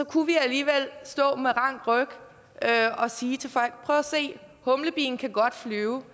kunne vi alligevel stå med rank ryg og sige til folk prøv at se humlebien kan godt flyve